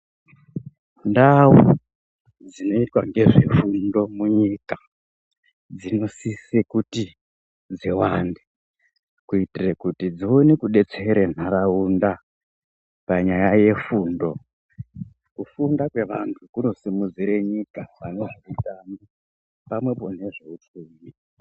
Ndau dzinoitwa ngezvefundo munyika, dzinosise kuti dziwande kuitire kuti dzione kudetsera nharaunda panyaya yefundo. Kufunda kwevantu kunosimidzire nyika pane zveutano pamwepo nezveupfumi.